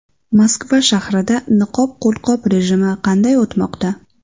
Moskva shahrida niqob-qo‘lqop rejimi qanday o‘tmoqda?.